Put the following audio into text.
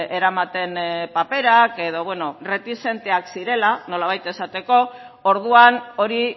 eramaten paperak edo erretixenteak zirela nolabait esateko orduan hori